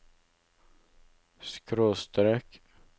skråstrek